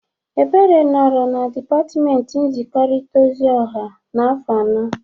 Ebere nọrọ na dịpatmenti nzikọrịta ozi ọha afọ anọ.